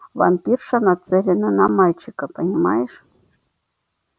вампирша нацелена на мальчика понимаешь